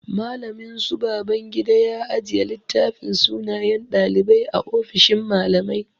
Mallamin su Babangida ya ajiye littafin sunayen ɗalibai a ofishin mallamai.